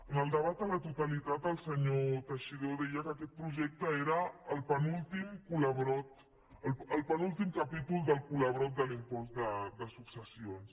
en el debat a la totalitat el senyor teixidó deia que aquest projecte era el penúltim capítol del serial de l’impost de successions